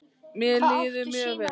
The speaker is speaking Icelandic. Mér líður mjög vel.